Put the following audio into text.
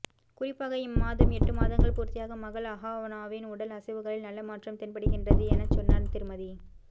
குறிப்பாக இம்மாதம் எட்டு மாதங்கள் பூர்த்தியாகும் மகள் அஹானாவின் உடல் அசைவுகளில் நல்ல மாற்றம் தென்படுகின்றது எனச் சொன்னார் திருமதி